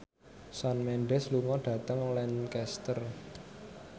Shawn Mendes lunga dhateng Lancaster